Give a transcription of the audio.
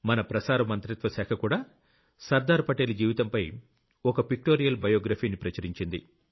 మన ప్రసార మంత్రిత్వ శాఖ కూడా సర్దార్ పటేల్ జీవితంపై ఓ పిక్టోరియెల్ బయోగ్రఫీని ప్రచురించింది